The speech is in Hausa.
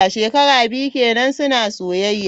Shekara biyu kenan suna soyayya.